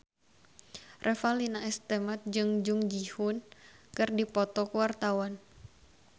Revalina S. Temat jeung Jung Ji Hoon keur dipoto ku wartawan